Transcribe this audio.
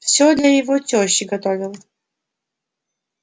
всё для его тёщи готовил